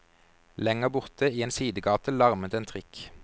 Lenger borte, i en sidegate larmet en trikk.